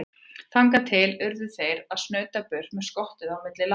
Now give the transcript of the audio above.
Þangað til þeir urðu að snauta burt með skottið milli lappanna.